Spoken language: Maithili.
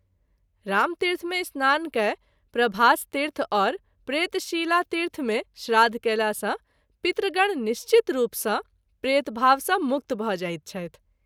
रामतीर्थ मे स्नान कय प्रभासतीर्थ और प्रेतशिलातीर्थ मे श्राद्ध कएला सँ पितृगण निश्चित रूप सँ प्रेतभाव सँ मुक्त भ’ जाइत छथि।